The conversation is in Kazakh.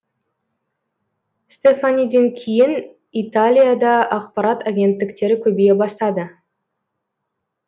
стефаниден кейін италияда ақпарат агенттіктері көбейе бастады